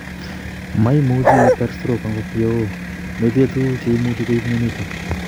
Moimuchi iter stroke angot yeo metinye tuguk cheimuch koib myonitok